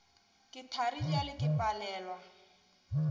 ke thari bjale ke palelwa